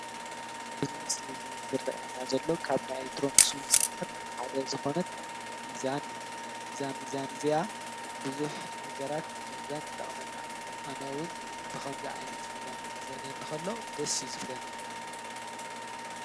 እዚ ምስሊ እዚ ዝረአየና ዘሎ ካብ ናይ ኤክትሮኒክስ ፅውኢት ሓደ ዝኽዕነት ሚዛን እያ። አዛ ሚዛን እዚኣ ብዙሓት ነገራት ንምምዛን ትጠቅመና፡፡ ኣነ እውን ብከምዚ ዓይነት ሚዛን ክምዘነኒ ከሎ ደስ እዩ ዝብለኒ፡፡